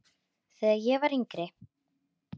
Þegar ég var yngri.